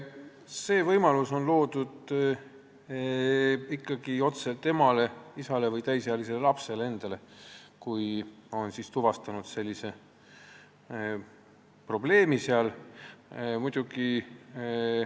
See võimalus on ikkagi loodud otse temale, isale, või täisealisele lapsele, kui seal on selline probleem tuvastatud.